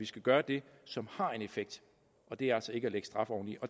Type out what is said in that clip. skal gøre det som har en effekt og det er altså ikke at lægge straf oveni